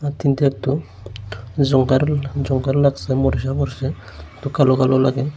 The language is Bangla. তিনটের তো জোগার জোগাড় লাগসে পড়সে তো কালো কালো লাগে।